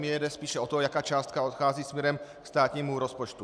Mně jde spíš o to, jaká částka odchází směrem ke státnímu rozpočtu.